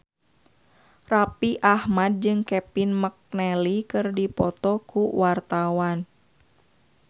Raffi Ahmad jeung Kevin McNally keur dipoto ku wartawan